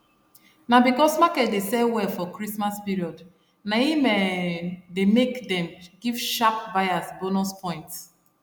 na because market dey sell well for christmas period na im um dey make dem give sharp buyers bonus points